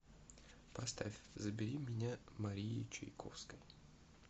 поставь забери меня марии чайковской